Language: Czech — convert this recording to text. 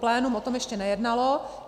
Plénum o tom ještě nejednalo.